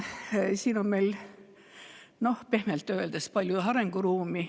Siin on meil pehmelt öeldes palju arenguruumi.